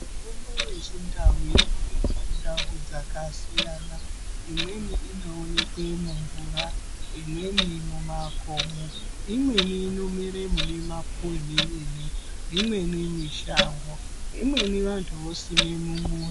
Mitombo yechindau inoonekwa mundau dzakasiyana. Imweni inoonekwe mumvura, imweni mumakomo. Imweni inomere mune mapuwe mwemene, imweni mishango. Imweni vantu vosime mumuzi.